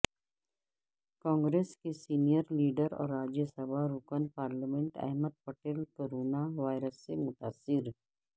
کانگریس کے senior leader اور راجیہ سبھا رکن parliament Ahmed Patel corona virus سے متاثر